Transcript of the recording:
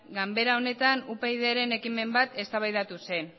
ganbara honetan upydren ekimen bat eztabaidatu zen